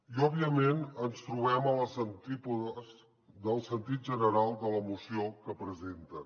i òbviament ens trobem a les antípodes del sentit general de la moció que presenten